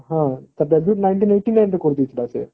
ହଁ nineteen eighty nine ରେ କରି ଦେଇଥିଲା ସେ